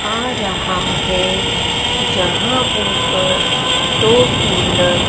आ रहा है जहां ऊपर दो कुलर --